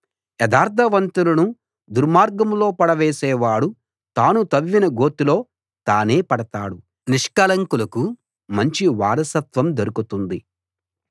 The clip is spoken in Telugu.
యథార్థవంతులను దుర్మార్గంలో పడవేసే వాడు తాను తవ్విన గోతిలో తానే పడతాడు నిష్కళంకులకు మంచి వారసత్వం దొరుకుతుంది